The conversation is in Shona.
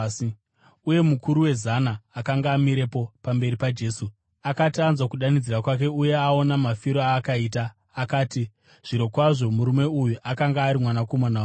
Uye mukuru wezana, akanga amirepo, pamberi paJesu, akati anzwa kudanidzira kwake uye aona mafiro aakaita, akati, “Zvirokwazvo murume uyu anga ari Mwanakomana waMwari!”